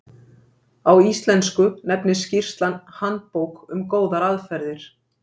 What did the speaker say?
á íslensku nefnist skýrslan handbók um góðar aðferðir